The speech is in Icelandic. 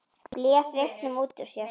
Blés reyknum út úr sér.